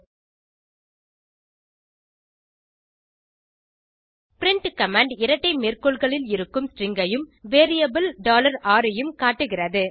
print command இரட்டை மேற்கோள்களில் இருக்கும் ஸ்ட்ரிங் ஐயும் வேரியபிள் r ஐயும் காட்டுகிறது